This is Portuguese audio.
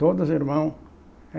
Todos os irmãos.